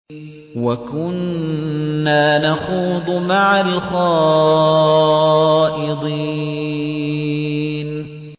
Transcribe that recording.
وَكُنَّا نَخُوضُ مَعَ الْخَائِضِينَ